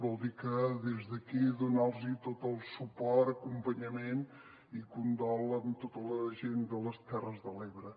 vol dir que des d’aquí donar los tot el suport acompanyament i condol a tota la gent de les terres de l’ebre